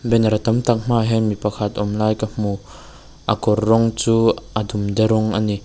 banner tam tak hmaah hian mi pakhat awm lai ka hmu a kawr rawng chu a dumde rawng ani.